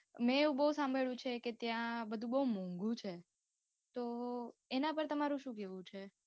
મેં એવું બઉ સાંભળ્યું છે કે ત્યાં બધું બઉ મોંધુ છે, તો એના પર તમારું શું કેહવું છે.